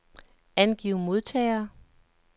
Angiv modtagere.